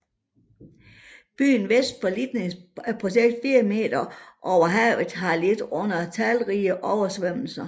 Byen vest for Liteyny Prospekt 4 m over havet har lidt under talrige oversvømmelser